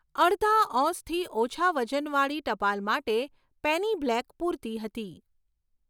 અડધા ઔસથી ઓછા વજનવાળી ટપાલ માટે પેની બ્લેક પૂરતી હતી.